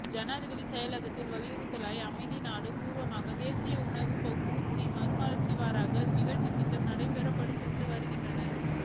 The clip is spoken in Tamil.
ஜனாதிபதி செயலகத்தின் அறிவுறுத்தலுக்கு அமைய நாடு பூராவும் தேசிய உணவு உற்பத்தி மறுமலர்ச்சி வார நிகழ்ச்சி திட்டம் நடைமுறைப்படுத்தப்பட்டு வருகின்றது